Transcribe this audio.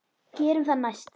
Gerum það næst.